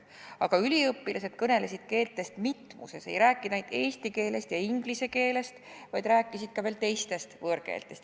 Aga üliõpilased kõnelesid keeltest mitmuses, nad ei rääkinud ainult eesti keelest ja inglise keelest, vaid rääkisid teistestki võõrkeeltest.